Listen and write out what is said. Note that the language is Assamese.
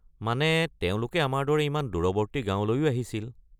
মানে তেওঁলোকে আমাৰ দৰে ইমান দূৰৱৰ্তী গাঁৱলৈও আহিছিল।